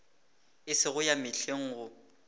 e sego ya mehleng go